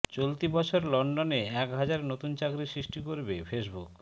চলতি বছর লন্ডনে এক হাজার নতুন চাকরি সৃষ্টি করবে ফেসবুক